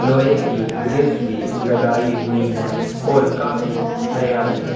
लोहै की गिरीस भी लगाई हुई है और काफी हरियाली --